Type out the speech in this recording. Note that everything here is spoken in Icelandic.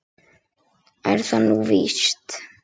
Er það nú víst ?